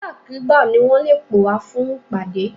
Nígbàkúùgbà ni wọn lè pè wá fún ìpàdé.